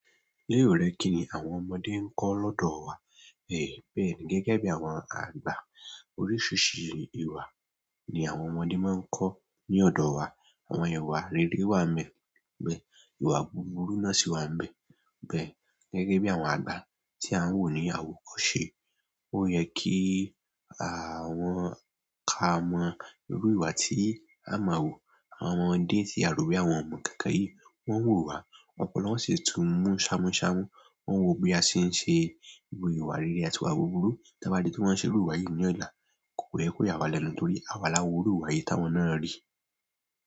Léò rẹ kí ni àwọn ọmọdé ń kọ́ lọ́dọ̀ wa? Ẹ̀ bẹ́ẹ̀ ni gẹ́gẹ́ bí àwọn àgbà, oríṣìíríṣìí ìwà ni àwọn ọmọdé máa ń kọ́ ní ọ̀dọ̀ wa. Àwọn ìwà rere wà ńbẹ̀, ìwà búburú náà sì wà ńbẹ̀. Bẹ́ẹ̀ ni gẹ́gẹ́ bí àwọn àgbà tí a ń wò ní àwòkọ́ṣe, ó yẹ kí àwọn ká mọ irú ìwà tí a máa wò. Àwọn ọmọdé tí a rò bóyá wọn ò mọ̀ nǹkan kan yìí, wón ń wò wa, ọpọlọ wọn sì tún mú ṣámúṣámú. Wón ń wò bí a ṣe ń ṣe gbogbo ìwà rere àtìwà búburú. Tí a bá rí tí wón ṣe irú ìwà yìí ní ọ̀la, kò pé kó yá wá lẹ́nu nítorí àwa la hu'rú ìwà yìí táwọn náà rí.